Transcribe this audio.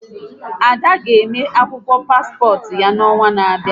Ada ga eme akwụkwọ paspọt ya n'ọnwa n'abịa